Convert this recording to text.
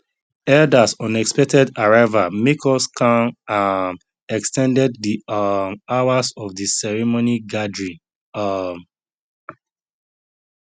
elders unexpected arrival make us kan um ex ten ded the um hours of the ceremony gathering um